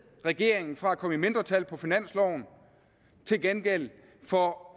regeringen fra at komme i mindretal på finansloven til gengæld for